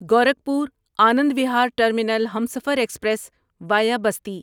Gorakhpur Anand Vihar terminal Humsafar express via Basti